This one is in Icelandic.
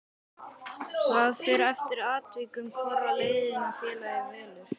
Það fer eftir atvikum hvora leiðina félagið velur.